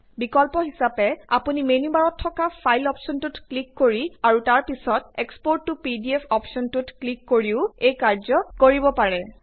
বিকল্প হিচাপে আপুনি মেনু বাৰত থকা ফাইল অপ্শ্বনটোত ক্লিক কৰি আৰু তাৰ পিছত এক্সপোৰ্ট ত পিডিএফ অপ্শ্বনটোত ক্লিক কৰিও এই কাৰ্য কৰিব পাৰে